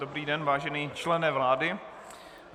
Dobrý den, vážený člene vlády.